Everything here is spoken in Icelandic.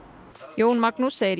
Jón Magnús segir